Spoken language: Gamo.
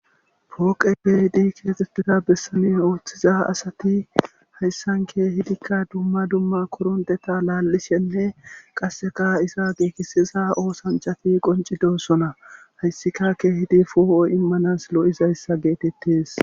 pooqe keehidi keexetiza bessamin ooththiza asati hayssanke hidikka dumma dumma koronteta laallishenne qasseka isa geekisiza oosanchafi qoncidosona hayssika ke hidi foo7o immanas lo7izayssa geetettes